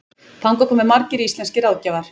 Þangað komu margir íslenskir ráðgjafar.